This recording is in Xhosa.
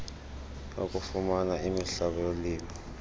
okufumana imihlaba yolimo